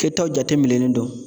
Kɛtaw jatemilɛlen don.